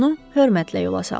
Onu hörmətlə yola saldı.